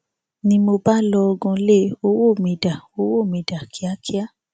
ni mo bá lọgun lé e ọwọ mi dá owó mi dá kíákíá